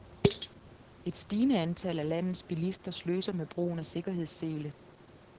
Et stigende antal af landets bilister sløser med brugen af sikkerhedssele.